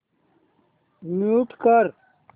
mute कर